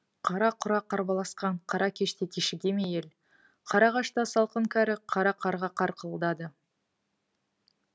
қара құра қарбаласқан қара кеште кешіге ме ел қара ағашта салқын кәрі қара қарға қарқылдары